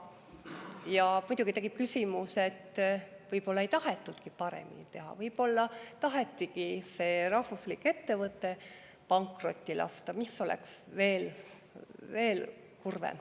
Ja muidugi tekib küsimus, et võib-olla ei tahetudki paremini teha, võib-olla tahetigi see rahvuslik ettevõte pankrotti lasta, mis oleks veel kurvem.